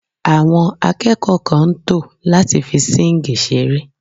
Àwọn akẹ́kọ̀ọ́ kan ń tò láti fi síǹgì ṣeré